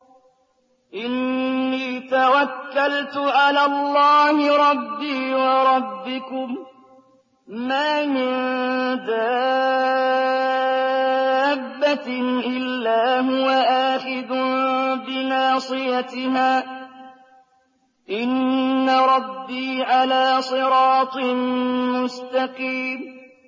إِنِّي تَوَكَّلْتُ عَلَى اللَّهِ رَبِّي وَرَبِّكُم ۚ مَّا مِن دَابَّةٍ إِلَّا هُوَ آخِذٌ بِنَاصِيَتِهَا ۚ إِنَّ رَبِّي عَلَىٰ صِرَاطٍ مُّسْتَقِيمٍ